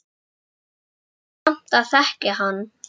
Mig langar samt að þekkja hann